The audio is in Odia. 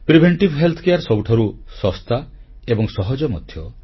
ପ୍ରତିଶେଧକ ସ୍ୱାସ୍ଥ୍ୟ ସେବା ସବୁଠାରୁ ଶସ୍ତା ଏବଂ ସହଜ ମଧ୍ୟ